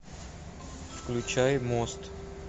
включай мост